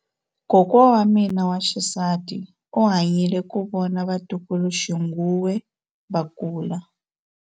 Kokwa wa mina wa xisati u hanyile ku vona vatukuluxinghuwe va kula.